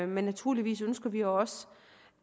men naturligvis ønsker vi også